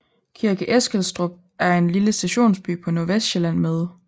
Kirke Eskilstrup er en lille stationsby på Nordvestsjælland med